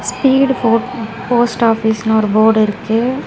Speed boat post ஆஃபீஸ்னு ஒரு fort இருக்கு.